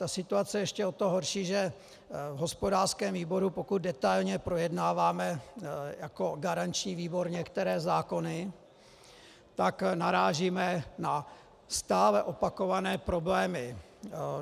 Ta situace je ještě o to horší, že v hospodářském výboru, pokud detailně projednáváme jako garanční výbor některé zákony, tak narážíme na stále opakované problémy.